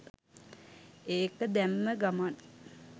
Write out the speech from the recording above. ඒක දැම්ම ගමං